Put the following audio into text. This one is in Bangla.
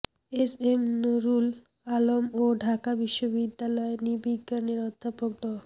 এস এম নূরুল আলম ও ঢাকা বিশ্ববিদ্যালয় নৃবিজ্ঞানের অধ্যাপক ড